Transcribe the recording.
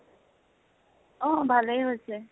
অহ ভালে গৈছে